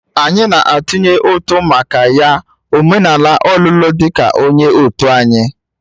Anyị na-atụnye ụtụ maka ya omenala ọlụlụ ya di ka onye òtù anyị